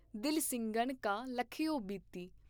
ਦਲ ਸਿੰਘਨ ਕਾ ਲਖਯੋ ਬਤੀ।